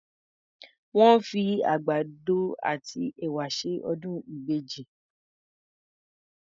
Wọ́n fi àgbàgbọ àti ẹ̀wà ṣe ọdún ìbejì.